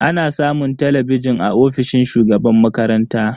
Ana samun talabijin a ofishin shugaban makaranta.